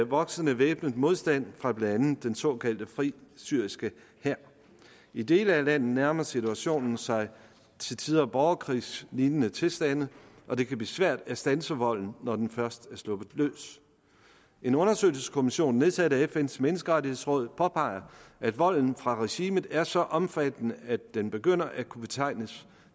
voksende væbnet modstand fra blandt andet den såkaldte fri syriske hær i dele af landet nærmer situationen sig til tider borgerkrigslignende tilstande og det kan blive svært at standse volden når den først er sluppet løs en undersøgelseskommission nedsat af fns menneskerettighedsråd påpeger at volden fra regimet er så omfattende at den begynder at kunne betegnes